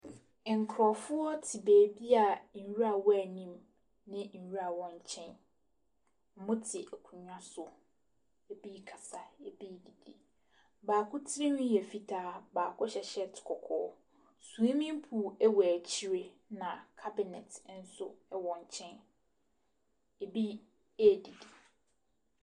Nkurɔfoɔ te baabi a nwura wɔ wɔn anim, ne nwura wɔn nkyɛn. Wɔte akonnwa so. Ɛbi rekasa, ɛbi redidi. Baako tirinwi yɛ fitaa. Baako hyɛ shirt kɔkɔɔ. Swimming pool wɔ akyire, na cabinet nso wɔ nkyɛn. Ɛbi redidi.